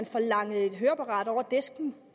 får langet et høreapparat over disken